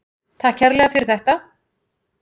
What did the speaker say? Takk kærlega fyrir þetta.